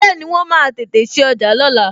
Bẹẹni, wọn máa tètè sí ọjà lóla